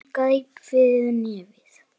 Hún greip fyrir nefið.